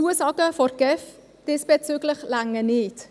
Zusagen von der GEF diesbezüglich genügen nicht.